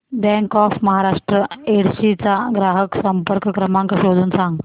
bank of Maharashtra Yedshi चा ग्राहक संपर्क क्रमांक शोधून सांग